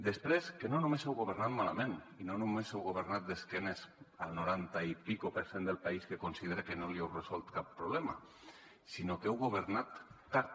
després que no només heu governant malament i no només heu governat d’esquenes al noranta i escaig per cent del país que considera que no li heu resolt cap problema sinó que heu governat tard